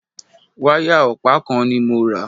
Wáyà ọ̀pá kan ni mo rà.